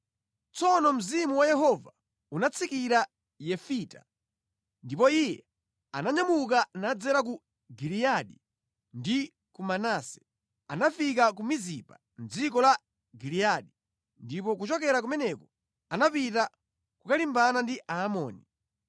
Tsono Mzimu wa Yehova unatsikira pa Yefita. Ndipo iye ananyamuka nadzera ku Giliyadi ndi ku Manase. Anafika ku Mizipa mʼdziko la Giliyadi, ndipo kuchokera kumeneko anapita kukalimbana ndi Aamoni.